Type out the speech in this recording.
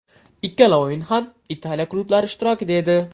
Ikkala o‘yin ham Italiya klublari ishtirokida edi .